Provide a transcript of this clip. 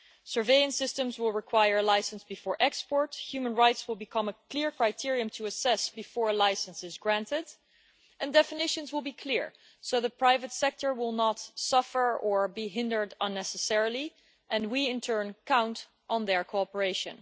Surveillance systems will require a licence before export, human rights will become a clear criterion to assess before a licence is granted, and definitions will be clear, so the private sector will not suffer or be hindered unnecessarily, and we in turn count on their cooperation.